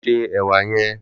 Lò sé èwà yèn